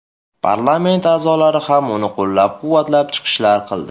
Parlament a’zolari ham uni qo‘llab-quvvatlab chiqishlar qildi.